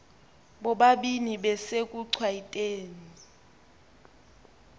bobabini besekuchwayite ni